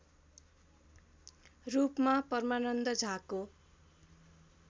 रूपमा परमानन्द झाको